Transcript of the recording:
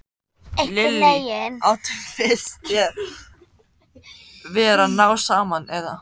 Lillý: Áttu, finnst þér þið vera að ná saman, eða?